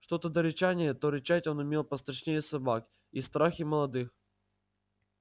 что-то до рычания то рычать он умел пострашнее собак и страх и молодых